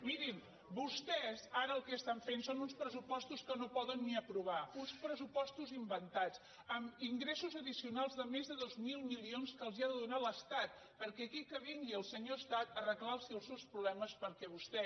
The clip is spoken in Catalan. mirin vostès ara el que estan fent són uns pressupostos que no poden ni aprovar uns pressupostos inventats amb ingressos addicionals de més de dos mil milions que els ha de donar l’estat perquè aquí que vingui el senyor estat a arreglar·los els seus problemes perquè vostè